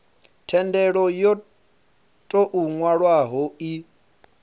thendelo yo tou nwalwaho i